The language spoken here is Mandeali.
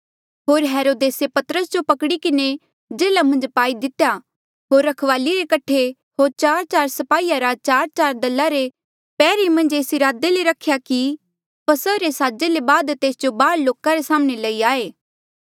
होर हेरोदेसे पतरस जो पकड़ी किन्हें जेल्हा मन्झ पाई दितेया होर रखवाली रे कठे होर चारचार स्पाहीया रा चारचार दल रे पैहरे मन्झ एस इरादे ले रख्या कि फसहा रे साजे ले बाद तेस जो बाहर लोका रे साम्हणें लई आये